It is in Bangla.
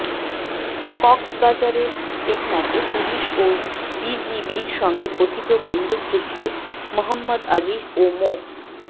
কক্সবাজারের টেকনাফে পুলিশ ও বিজিবির সঙ্গে কথিত বন্দুকযুদ্ধে মোহাম্মদ আজিজ ও মো